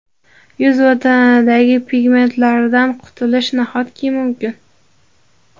Yuz va tanadagi pigmentlardan qutulish – nahotki mumkin!.